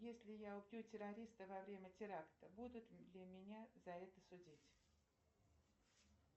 если я убью террориста во время теракта будут ли меня за это судить